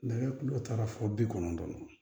Nɛgɛ taara fo bi kɔnɔntɔn